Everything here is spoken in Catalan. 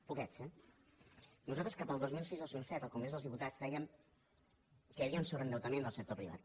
poquets eh nosaltres cap al dos mil sis el dos mil set al congrés dels diputats dèiem que hi havia un sobreendeutament del sector privat